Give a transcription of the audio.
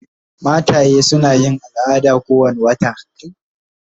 Mataye suna yin al'ada kowane wata.